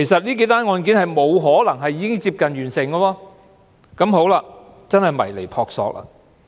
因此，這些案件根本沒有可能已接近完成，所以絕對是撲朔迷離。